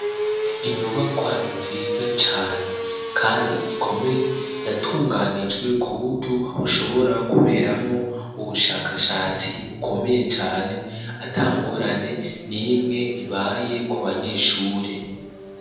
Inyubakwa nziza cane kandi ikomeye yatunganijwe ku buryo ushobora kuberamwo ubushakashatsi bukomeye cane atangorane nimwe ibaye ku banyeshure.